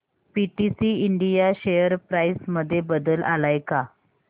PTC India share price मध्ये बदल आलाय का